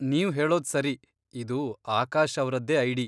ನೀವ್ ಹೇಳೋದ್ ಸರಿ, ಇದು ಆಕಾಶ್ ಅವ್ರದ್ದೇ ಐಡಿ.